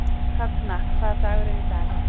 Högna, hvaða dagur er í dag?